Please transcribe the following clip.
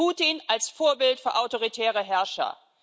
Putin als Vorbild für autoritäre Herrscher.